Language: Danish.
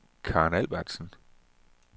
Karen Albertsen